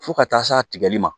Fo ka taa s'a tigɛli ma